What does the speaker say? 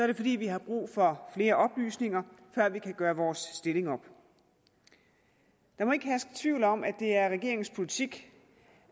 det fordi vi har brug for flere oplysninger før vi kan gøre vores stilling op der må ikke herske tvivl om at det er regeringens politik